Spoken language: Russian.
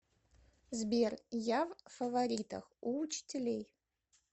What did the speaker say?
сбер я в фаворитах у учителей